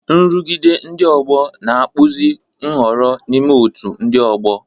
Nrụgide ndị ọgbọ na-akpụzi nhọrọ n'ime otú ndị ọgbọ.